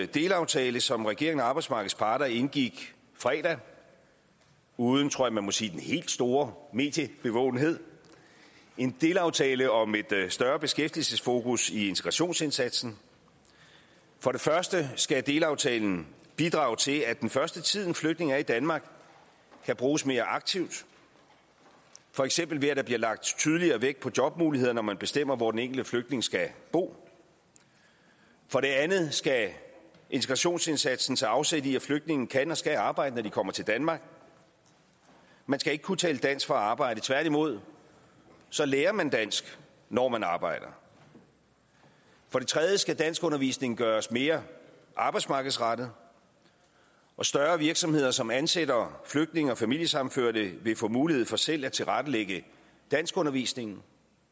delaftale som regeringen og arbejdsmarkedets parter indgik i fredags uden tror jeg man må sige den helt store mediebevågenhed en delaftale om et større beskæftigelsesfokus i integrationsindsatsen for det første skal delaftalen bidrage til at den første tid en flygtning er i danmark kan bruges mere aktivt for eksempel ved at der bliver lagt tydeligere vægt på jobmuligheder når man bestemmer hvor den enkelte flygtning skal bo for det andet skal integrationsindsatsen tage afsæt i at flygtninge kan og skal arbejde når de kommer til danmark man skal ikke kunne tale dansk for at arbejde tværtimod lærer man dansk når man arbejder for det tredje skal danskundervisningen gøres mere arbejdsmarkedsrettet og større virksomheder som ansætter flygtninge og familiesammenførte vil få mulighed for selv at tilrettelægge danskundervisningen